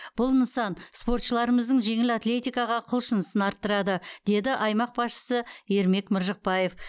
бұл нысан спортшыларымыздың жеңіл атлетикаға құлшынысын арттырады деді аймақ басшысы ермек мыржықпаев